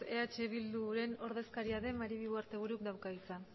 eh bilduren ordezkaria den maribi ugarteburuk dauka hitza